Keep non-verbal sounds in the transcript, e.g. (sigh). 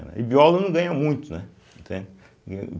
E biólogo não ganha muito, né? entende (unintelligible)